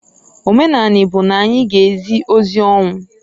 Omenani bu na anyi g' ezi ozi ọnwụ.